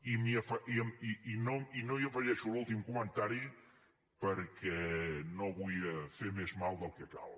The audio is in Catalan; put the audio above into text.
i no hi afegeixo l’últim comentari perquè no vull fer més mal del que cal